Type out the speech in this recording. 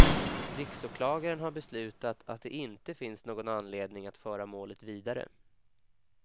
Riksåklagaren har beslutat att det inte finns någon anledning att föra målet vidare.